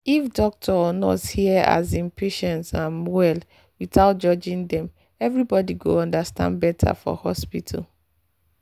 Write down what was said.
if doctor or nurse hear um patient um well without judging dem everybody go understand better for hospital.